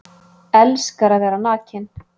Elskar að vera nakinn